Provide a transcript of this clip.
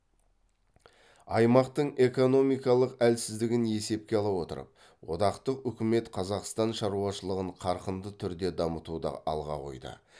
аймақтың экономикалық әлсіздігін есепке ала отырып одақтық үкімет қазақстан шаруашылығын қарқынды түрде дамытуды алға қойды